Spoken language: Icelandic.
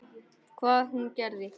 Hvað hún og gerði.